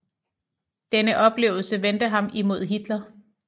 Denne oplevelse vendte ham imod Hitler